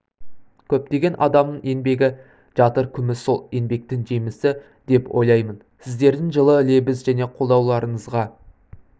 көптеген адамның еңбегі жатыр күміс сол еңбектің жемісі деп ойлаймын сіздердің жылы лебіз және қолдауларыңызға